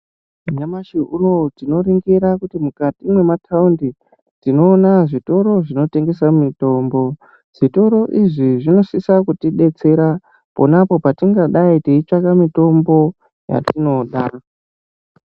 Nyamashi unowu tinoringira kuti mukati mwemataundi tinoona zvitoro zvinotengesa mitombo zvitoro izvi zvinosisa kutidetsera ponapo patingadayi teitsvaka mitombo yatinoda.